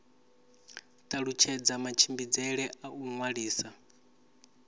talutshedza matshimbidzele a u ṅwalisa